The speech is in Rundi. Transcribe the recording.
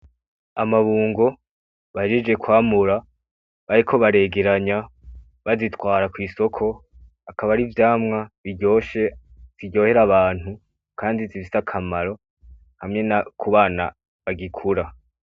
Amabungo bahejeje kwamura bariko baregeranya bazitwara kw'isoko, akaba ari ivyamwa biryoshe biryohera abantu kandi bifise akamaro hamwe no ku bana bagikura.